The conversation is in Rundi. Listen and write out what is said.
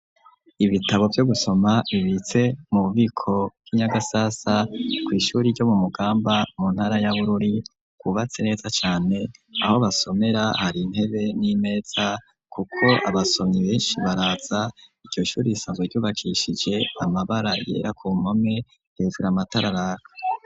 Ibitabo vyo gusoma bibitse mu bubiko bwi Nyagasasa kwishuri ryo mu Mugamba mu ntara ya Bururi kubatse neza cane aho basomera hari intebe n'imetsa kuko abasomyi benshi baratsa ico shuri isango ryubakishije amabara yera ku mome hejura amatararaka.